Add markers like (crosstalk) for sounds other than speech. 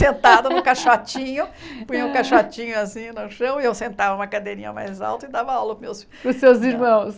Sentada (laughs) no caixotinho, punha o caixotinho assim no chão e eu sentava em uma cadeirinha mais alta e dava aula para os meus Para os seus irmãos.